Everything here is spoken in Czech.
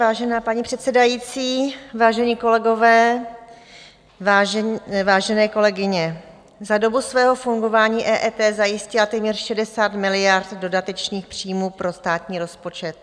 Vážená paní předsedající, vážení kolegové, vážené kolegyně, za dobu svého fungování EET zajistila téměř 60 miliard dodatečných příjmů pro státní rozpočet.